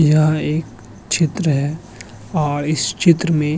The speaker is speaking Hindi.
यह एक चित्र है और इस चित्र में --